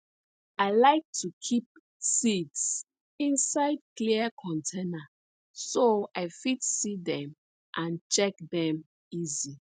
i like to keep seeds inside clear container so i fit see dem and check dem easy